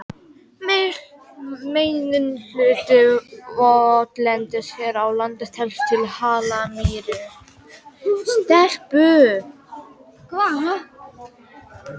Meginhluti votlendis hér á landi telst til hallamýra.